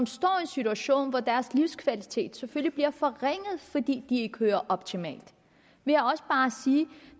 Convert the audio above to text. står i en situation hvor deres livskvalitet bliver forringet fordi de ikke hører optimalt vil